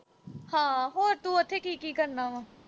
ਹਾਂ, ਹੋਰ ਤੂੰ ਉਥੇ, ਕੀ-ਕੀ ਕਰਨਾ ਵਾ?